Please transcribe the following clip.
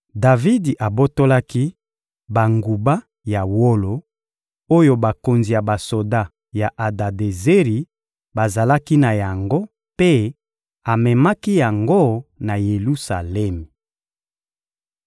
Davidi abotolaki banguba ya wolo oyo bakonzi ya basoda ya Adadezeri bazalaki na yango mpe amemaki yango na Yelusalemi.